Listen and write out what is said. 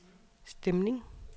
stemning